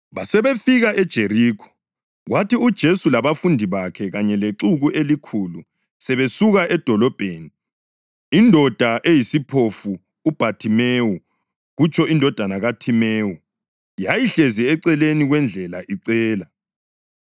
Basebefika eJerikho. Kwathi uJesu labafundi bakhe kanye lexuku elikhulu sebesuka edolobheni, indoda eyisiphofu, uBhathimewu (kutsho indodana kaThimewu) yayihlezi eceleni kwendlela icela.